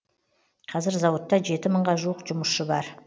қазір зауытта жеті мыңға жуық жұмысшы бар